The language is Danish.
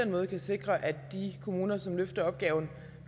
måde kan sikre at de kommuner som løfter opgaven